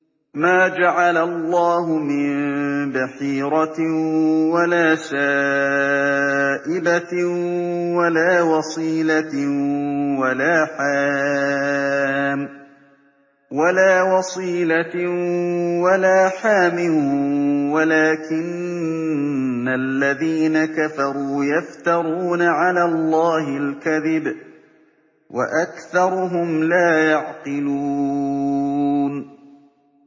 مَا جَعَلَ اللَّهُ مِن بَحِيرَةٍ وَلَا سَائِبَةٍ وَلَا وَصِيلَةٍ وَلَا حَامٍ ۙ وَلَٰكِنَّ الَّذِينَ كَفَرُوا يَفْتَرُونَ عَلَى اللَّهِ الْكَذِبَ ۖ وَأَكْثَرُهُمْ لَا يَعْقِلُونَ